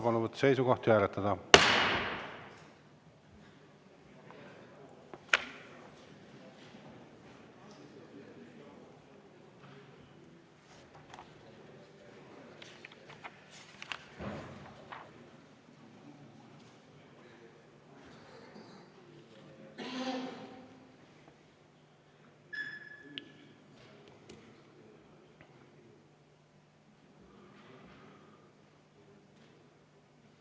Palun võtta seisukoht ja hääletada!